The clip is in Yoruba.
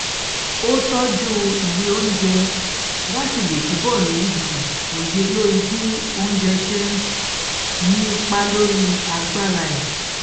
ó tọjú ìwé oúnjẹ láti lè túbọ ní um òye lórí bí oúnjẹ ṣe ń um ní ipa lórí agbára ẹ